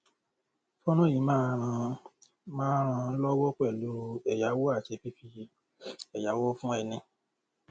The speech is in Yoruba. fọnrán yìí máa ràn máa ràn lówó pẹlú ẹyáwó àti fifi ẹyáwó fún ẹni